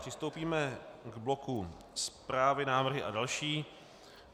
Přistoupíme k bloku Zprávy, návrhy a další.